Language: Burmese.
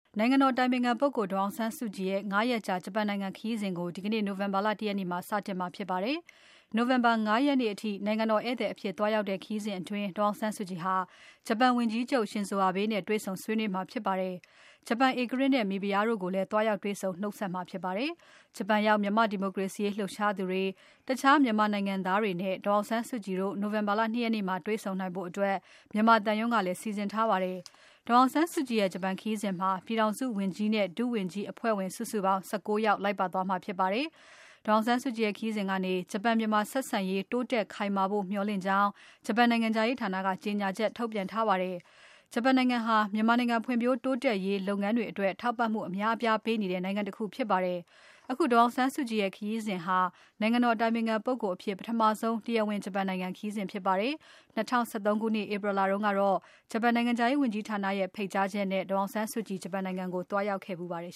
နိုင်ငံတော်အတိုင်ပင်ခံပုဂ္ဂိုလ် ဒေါ်အောင်ဆန်းစုကြည်ရဲ့ ၅ ရက်ကြာ ဂျပန်နိုင်ငံခရီးစဉ်ကို ဒီကနေ့ နိုဝင်ဘာ ၁ ရက်နေ့မှာ စတင်မှာဖြစ်ပါတယ်။ နိုဝင်ဘာ ၅ ရက်နေ့အထိ နိုင်ငံတော်ဧည့်သည် အဖြစ်သွားရောက်တဲ့ ခရီးစဉ်အတွင်း ဒေါ်အောင်ဆန်းစုကြည် ဟာ ဂျပန်ဝန်ကြီးချုပ် ရှင်ဇိုအာဘဲ့နဲ့ တွေ့ဆုံဆွေးနွေးမှာ ဖြစ်ပါတယ်။ ဂျပန်ဧကရာဇ်နဲ့ မိဖုရားတို့ကို လည်း သွားရောက်တွေ့ဆုံ နှုတ်ဆက်မှာဖြစ်ပါတယ်။ ဂျပန်ရောက် မြန်မာ့ဒီမိုကရေစီရေးလှုပ်ရှားသူတွေ၊ တခြားမြန်မာနိုင်ငံသားတွေ နဲ့ ဒေါ်အောင်ဆန်းစုကြည်တို့ နိုဝင်ဘာ ၂ ရက်နေ့မှာ တေ့ွဆုံဖို့ မြန်မာသံရုံးက စီစဉ်ထားပါတယ်။ ဒေါ်အောင်ဆန်းစုကြည်ရဲ့ ဂျပန်ခရီးစဉ်မှာ ပြည်ထောင်စုဝန်ကြီးနဲ့ ဒုဝန်ကြီး အဖဲ့ွဝင် စုစုပေါင်း ၁၉ ယောက်လိုက်ပါသွားမှာဖြစ်ပါတယ်။ ဒေါ်အောင်ဆန်းစုကြည်ရဲ့ခရီးစဉ်ကနေ ဂျပန်၊ မြန်မာဆက်ဆံရေး တိုးတက်ခိုင်မာဖို့ မျှော်လင့်ကြောင်း ဂျပန်နိုင်ငံခြားရေးဌာနက ကြေညာချက် ထုတ်ပြန်ထားပါတယ်။ ဂျပန်နိုင်ငံဟာ မြန်မာနိုင်ငံ ဖွံ့ဖြိုးတိုးတက်ရေး လုပ်ငန်းတွေအတွက် ထောက်ပံ့မှုအများအပြားပေးနေတဲ့ နိုင်ငံတခုဖြစ်ပါတယ်။ အခုဒေါ်အောင်ဆန်းစုကြည်ရဲ့ ခရီးစဉ်ဟာ နိုင်ငံတော်အတိုင်ပင်ခံပုဂ္ဂိုလ်အဖြစ် ပထမဆုံး တရားဝင် ဂျပန်နိုင်ငံ ခရီးစဉ်ဖြစ်ပါတယ်။ ၂၀၁၃ ဧပြီလတုန်းကတော့ ဂျပန်နိုင်ငံခြားရေးဝန်ကြီးဌာနရဲ့ဖိတ်ကြားချက်နဲ့ ဒေါ်အောင်ဆန်းစုကြည် ဂျပန်ကို သွားရောက်ခဲ့ပါတယ်